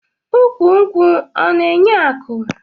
Ukwu nkwụ ọna enye aku?